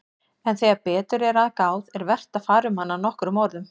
En þegar betur er að gáð er vert að fara um hana nokkrum orðum.